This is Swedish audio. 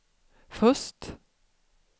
först